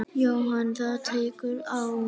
Jóhann: Það tekur á?